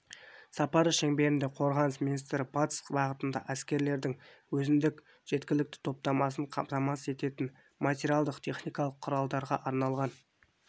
сапары шеңберінде қорғаныс министрі батыс бағытында әскерлердің өзіндік жеткілікті топтамасын қамтамасыз ететін материалдық-техникалық құралдарға арналған